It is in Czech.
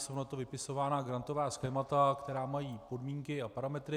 Jsou na to vypisována grantová schémata, která mají podmínky a parametry.